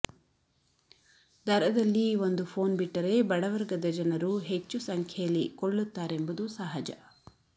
ದರದಲ್ಲಿ ಒಂದು ಫೋನ್ ಬಿಟ್ಟರೆ ಬಡವರ್ಗದ ಜನರು ಹೆಚ್ಚು ಸಂಖ್ಯೆಯಲ್ಲಿ ಕೊಳ್ಳುತ್ತಾರೆಂಬುದು ಸಹಜ